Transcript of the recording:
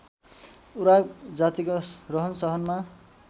उराव जातिको रहनसहनमा